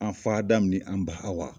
An fa Adamu ni an ba Awa